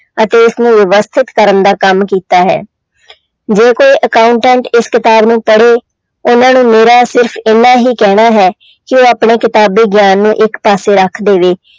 ਅਤੇ ਇਸ ਨੂੰ ਵਿਵਸਥਿਤ ਕਰਨ ਦਾ ਕੰਮ ਕੀਤਾ ਹੈ ਜੇ ਕੋਈ accountant ਇਸ ਕਿਤਾਬ ਨੂੰ ਪੜ੍ਹੇ ਉਹਨਾਂ ਨੂੰ ਮੇਰਾ ਸਿਰਫ਼ ਇੰਨਾ ਹੀ ਕਹਿਣਾ ਹੈ ਕਿ ਆਪਣੇ ਕਿਤਾਬੀ ਗਿਆਨ ਨੂੰ ਇੱਕ ਪਾਸੇ ਰੱਖ ਦੇਵੇ।